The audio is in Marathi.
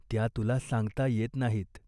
त्या तुला सांगता येत नाहीत.